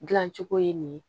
Dilancogo ye nin ye